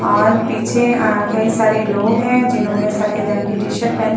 और पीछे अ कई सारे लोग हैं जिन्होंने सफेद रंग की टी-शर्ट पहन --